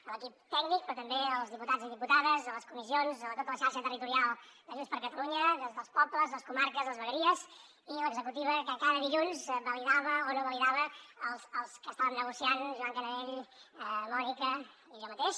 a l’equip tècnic però també als diputats i diputades a les comissions a tota la xarxa territorial de junts per catalunya des dels pobles les comarques les vegueries i l’executiva que cada dilluns validava o no validava els que estàvem negociant joan canadell mònica i jo mateix